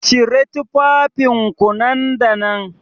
Cire tufafinku nan da nan